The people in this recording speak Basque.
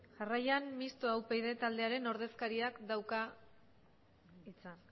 jarraian mixto upyd taldearen ordezkariak dauka hitza